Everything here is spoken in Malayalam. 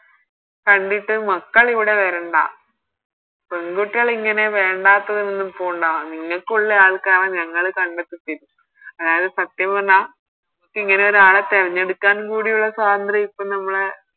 കണ്ടിട്ട് മക്കളിവിടെ വരണ്ട പെങ്കുട്ടിയള് ഇങ്ങനെ വേണ്ടാത്തതൊന്നും പോണ്ട നിങ്ങക്കുള്ള ആൾക്കാരെ ഞങ്ങള് കണ്ടെത്തി തരും അതായത് സത്യം പറഞ്ഞാൽ ഇങ്ങനെയൊരു ആളെ തിരഞ്ഞെടുക്കാനും ഉള്ള സ്വാതന്ത്ര്യം ഇപ്പൊ നമ്മളെ